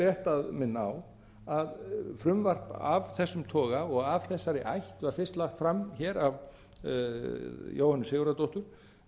rétt að minna á að frumvarp af þessum toga og af þessari ætt var fyrst lagt fram hér af jóhönnu sigurðardóttur